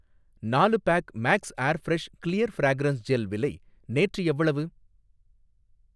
நாலு pack max air fresh clear fragrance gel விலை நேற்று எவ்வளவு?